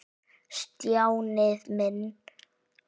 Stjáni minn.